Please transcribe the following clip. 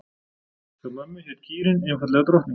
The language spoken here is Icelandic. Hjá mömmu hét kýrin einfaldlega Drottning.